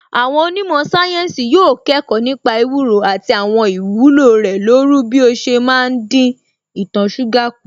Àwọn onímọ̀ sáyẹ́ǹsì yóò kẹ́kọ̀ọ́ nípa ewúro àti àwọn ìwúlò rẹ̀ lóru bí ó ṣe má ń dín ìtọ̀ṣúgà kù